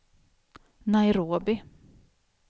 Nairobi